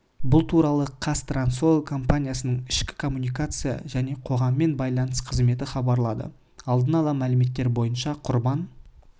бұл туралы қазтрансойл компаниясының ішкі коммуникация және қоғаммен байланыс қызметі хабарлады алдын ала мәліметтер бойынша құрбан